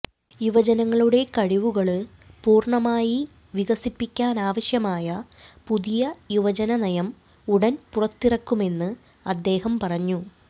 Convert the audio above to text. യുവ ജനങ്ങളുടെ കഴിവുകള് പൂര്ണമായി വികസിപ്പാക്കാനാവശ്യമായ പുതിയ യുവജന നയം ഉടന് പുറത്തിറക്കുമെന്ന് അദ്ദേഹം പറഞ്ഞു